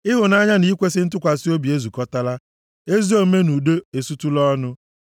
Ịhụnanya na ikwesi ntụkwasị obi ezukọtala; ezi omume na udo esutula ọnụ.